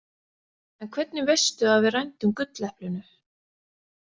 En hvernig veistu að við rændum gulleplinu?